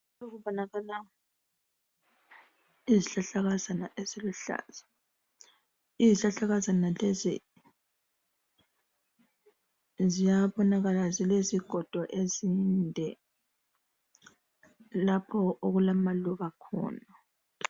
Kubonakala izihlahlakazana eziluhlaza izihlahlakazana lezi ziyabonakala zilezigodo ezinde lapho okulamaluba khona.